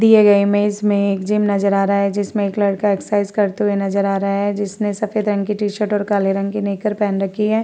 दिए गए इमेज में एक जिम नजर आ रहा है जिसमे एक लड़का एक्सरसाइज करते हुऐ नजर आ रहा है जिसमे सफ़ेद रंग कि टीशर्ट और काले रंग की निकर पहेन रखी है।